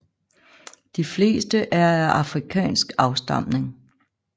De fleste er af afrikansk afstamning